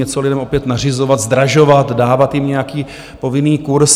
Něco lidem opět nařizovat, zdražovat, dávat jim nějaký povinný kurz...